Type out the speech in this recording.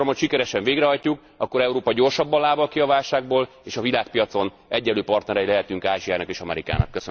Ha ezt a programot sikeresen végrehajtjuk, akkor Európa gyorsabban lábal ki a válságból, és a világpiacon egyenlő partnerei lehetünk Ázsiának és Amerikának.